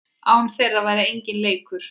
Án þeirra væri enginn leikur.